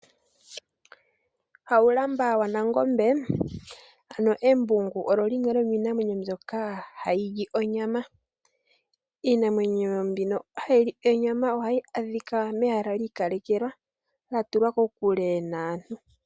Haulamba wa Nangombe ano embungu, olo limwe lyo miinamwenyo mbyoka hayi lyi onyama. Iinamwenyo mbino hayi li onyama ohahi adhika mehala lya ikalekelwa la tulwa kokule naantu.